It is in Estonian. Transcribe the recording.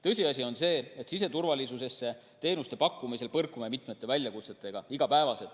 Tõsiasi on see, et siseturvalisuse teenuste pakkumisel põrkume igapäevaselt mitme väljakutsega.